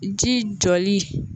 Ji jɔli.